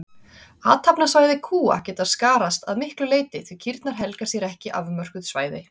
Athafnasvæði kúa geta skarast að miklu leyti því kýrnar helga sér ekki afmörkuð svæði.